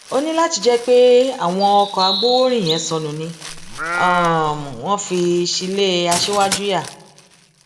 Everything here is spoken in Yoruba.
ó ní láti jẹ pé àwọn ọkọ agbowórin yẹn sọnù ni um wọn fi ṣí ilẹ aṣíwájú um yá